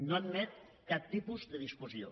no admet cap tipus de discussió